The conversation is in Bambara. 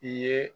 I ye